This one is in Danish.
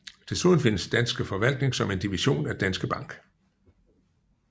Desuden findes Danske Forvaltning som en division af Danske Bank